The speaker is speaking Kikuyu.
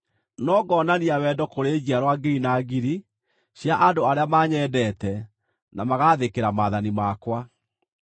no ngonania wendo kũrĩ njiarwa ngiri na ngiri cia andũ arĩa manyendete na magaathĩkĩra maathani makwa.